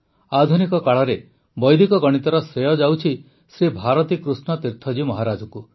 ଆଧୁନିକ କାଳରେ ବୈଦିକ ଗଣିତର ଶ୍ରେୟ ଯାଉଛି ଶ୍ରୀ ଭାରତୀକୃଷ୍ଣ ତୀର୍ଥଜୀ ମହାରଜଙ୍କୁ